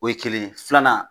O ye kelen ye filanan